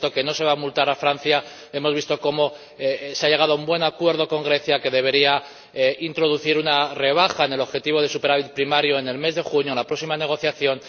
Hemos visto que no se va a multar a Francia. Hemos visto cómo se ha llegado a un buen acuerdo con Grecia, que debería introducir una rebaja en el objetivo de superávit primario en el mes de junio, en la próxima negociación.